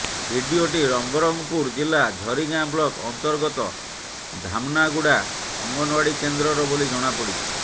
ଭିଡିଓଟି ନବରଙ୍ଗପୁର ଜିଲ୍ଲା ଝରିଗାଁ ବ୍ଲକ୍ ଅନ୍ତର୍ଗତ ଧାମନାଗୁଡ଼ା ଅଙ୍ଗନୱାଡି କେନ୍ଦ୍ରର ବୋଲି ଜଣାପଡିଛି